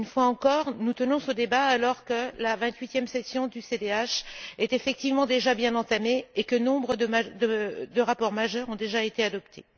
Une fois encore, nous tenons ce débat alors que la vingt huitième session du CDH est effectivement déjà bien entamée et que nombre de rapports majeurs ont été adoptés.